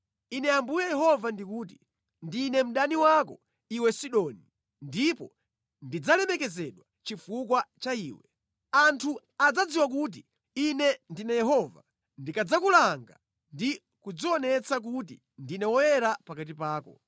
‘Ine Ambuye Yehova ndikuti, “ ‘Ndine mdani wako, iwe Sidoni, ndipo ndidzalemekezedwa chifukwa cha iwe. Anthu adzadziwa kuti Ine ndine Yehova ndikadzakulanga ndi kudzionetsa kuti ndine woyera pakati pako.